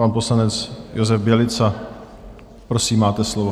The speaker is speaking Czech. Pan poslanec Josef Bělica, prosím, máte slovo.